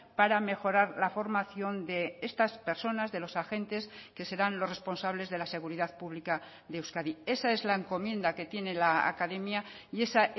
para mejorar la formación de estas personas de los agentes que serán los responsables de la seguridad pública de euskadi esa es la encomienda que tiene la academia y esa